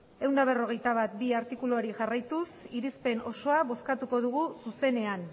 ehun eta berrogeita bat puntu bi artikuluari jarraituz irizpen osoa bozkatuko dugu zuzenean